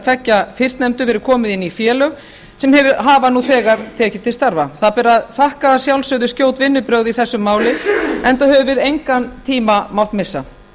tveggja fyrstnefndu verið komið inn í félög sem hafa nú þegar tekið til starfa það ber að þakka að sjálfsögðu skjót vinnubrögð í þessu máli enda höfum við engan tíma mátt missa